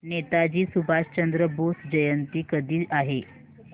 नेताजी सुभाषचंद्र बोस जयंती कधी आहे